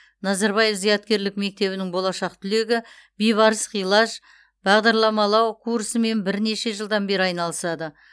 назарбаев зияткерлік мектебінің болашақ түлегі бейбарыс хилаж бағдарламалау курсымен бірнеше жылдан бері айналысады